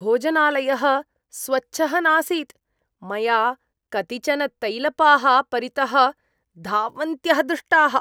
भोजनालयः स्वच्छः नासीत्, मया कतिचन तैलपाः परितः धावन्त्यः दृष्टाः।